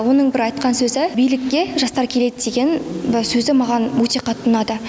оның бір айтқан сөзі билікке жастар келеді деген сөзі маған өте қатты ұнады